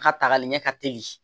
A ka tagali ɲɛ ka teli